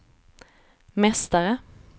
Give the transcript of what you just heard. mästare